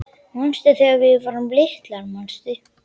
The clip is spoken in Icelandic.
Manstu þegar við vorum litlir, manstu